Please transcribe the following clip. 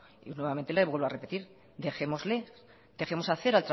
y nuevamente le vuelvo a repetir dejémosles dejemos hacer